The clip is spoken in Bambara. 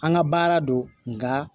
An ka baara do nka